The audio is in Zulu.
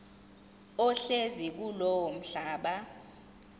ohlezi kulowo mhlaba